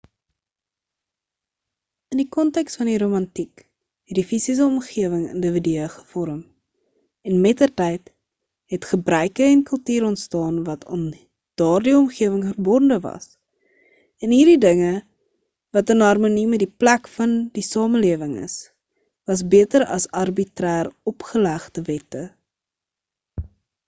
in die konteks van die romantiek het die fisiese omgewing individue gevorm en mettertyd het gebruike en kultuur onstaan wat aan daardie omgewing verbonde was en hierdie dinge wat in harmonie met die plek van die samelewing is was beter as arbitrêr-opgelegde wette